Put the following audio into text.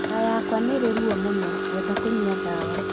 Nda yakwa nĩ ĩrĩ ruo mũno, ngwenda kũnyua ndawa